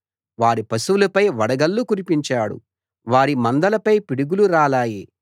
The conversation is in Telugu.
వారి పశువులపై వడగళ్ళు కురిపించాడు వారి మందలపై పిడుగులు రాలాయి